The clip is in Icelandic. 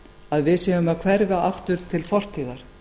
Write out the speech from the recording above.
að við séum að hverfa aftur til fortíðar